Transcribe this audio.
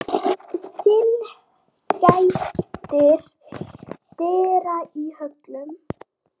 Syn gætir dyra í höllum